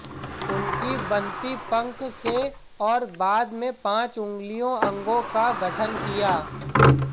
उनकी बनती पंख से और बाद में पांच उँगलियों अंगों का गठन किया